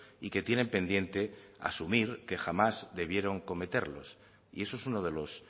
y que tienen pendiente asumir que jamás debieron cometerlos y eso es uno de los